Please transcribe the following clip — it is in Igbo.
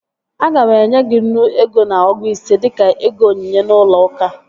Aga m enye gị nnu ego na ọgụ ise dịka ego onyinye n'ụlọ uka